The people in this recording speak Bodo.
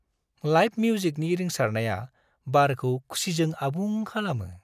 लाइभ मिउजिकनि रिंसारनाया बारखौ खुसिजों आबुं खालामो।